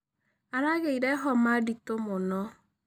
Aragĩĩre homa ndĩtũ mũno.